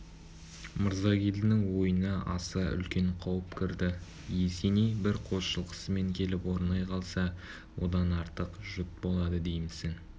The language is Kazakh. мырзагелдінің ойына аса үлкен қауіп кірді есеней бір қос жылқысымен келіп орнай қалса одан артық жұт болады деймісің